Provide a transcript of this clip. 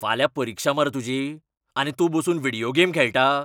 फाल्यां परिक्षा मरे तुजी? आनी तूं बसून व्हिडियो गेम खेळटा?